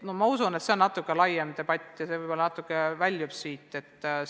Ma usun, et selle üle peaks toimuma laiem debatt.